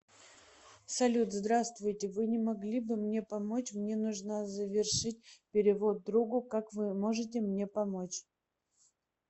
салют здравствуйте вы не могли бы мне помочь мне нужно завершить перевод другу как вы можете мне помочь